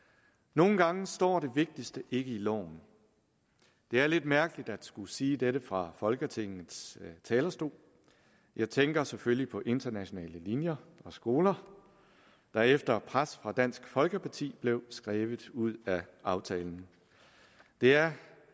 nogle gange står det vigtigste ikke i loven det er lidt mærkeligt at skulle sige dette fra folketingets talerstol jeg tænker selvfølgelig på internationale linjer og skoler der efter pres fra dansk folkeparti blev skrevet ud af aftalen det er